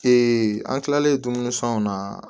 an kilalen dumuni fɛnw na